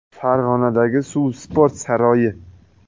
Farg‘onadagi Suv sport saroyi.